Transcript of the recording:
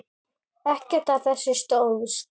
Ekkert af þessu stóðst.